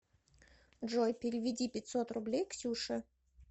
джой переведи пятьсот рублей ксюше